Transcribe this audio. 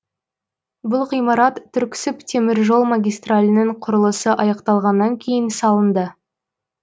бұл ғимарат түрксіб теміржол магистралінің құрылысы аяқталғаннан кейін салынды